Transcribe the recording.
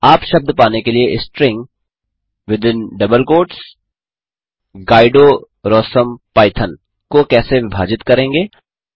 आप शब्द पाने के लिए स्ट्रिंग गाइडोरोसम्पाइथन को कैसे विभाजित करेंगे